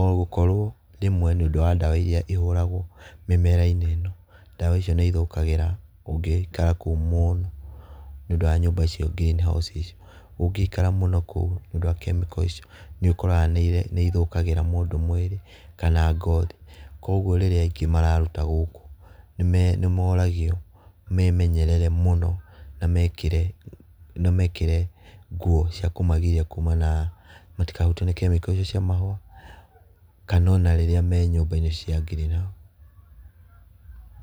O gũkorwo rĩmwe nĩ ũndũ wa ndawa iria ihũragwo mĩmera-inĩ ĩno ndawa icio nĩ ithũkagĩra ũngĩikara kũu mũno, nĩ ũndũ wa nyũmba icio green house icio, ũngĩikara kũu mũno nĩ ũndũ wa kemiko icio. Nĩ ũkoraga nĩ ithũkagra mũndũ mwĩrĩ kana ngothi, koguo rĩrĩa aingĩ mararuta gũkũ nĩ moragio memenyerere mũno na mekĩre nguo ciakũmagiria kuma na matikahutio nĩ kemiko icio cia mahũa, kana ona rĩrĩa me nyũmba-inĩ cia green house.